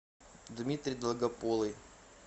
дмитрий долгополый